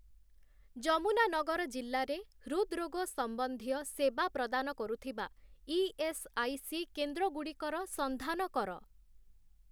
ଯମୁନାନଗର ଜିଲ୍ଲାରେ ହୃଦ୍‌ରୋଗ ସମ୍ବନ୍ଧୀୟ ସେବା ପ୍ରଦାନ କରୁଥିବା ଇ.ଏସ୍‌.ଆଇ.ସି. କେନ୍ଦ୍ରଗୁଡ଼ିକର ସନ୍ଧାନ କର ।